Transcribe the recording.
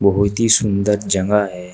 बहुत ही सुंदर जगह है।